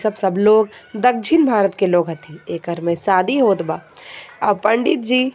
सब-सब लोग दक्षिण भारत के लोग हथि एकर में शादी होत बा आ पंडित जी.